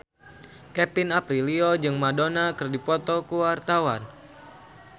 Kevin Aprilio jeung Madonna keur dipoto ku wartawan